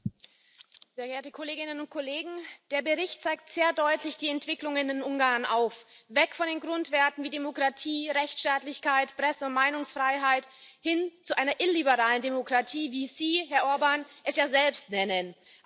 Herr Präsident, sehr geehrte Kolleginnen und Kollegen! Der Bericht zeigt sehr deutlich die Entwicklungen in Ungarn auf weg von den Grundwerten wie Demokratie, Rechtsstaatlichkeit, Presse und Meinungsfreiheit hin zu einer illiberalen Demokratie, wie Sie, Herr Orbán, es ja selbst nennen.